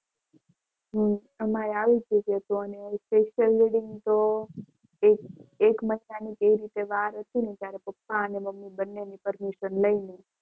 હમ અમારે આવું જ હતું અને special reading તો એક એક મહિનાની એટલી વાર હતી ને ત્યારે પપ્પા અને મમ્મી બંનેની permission લઈને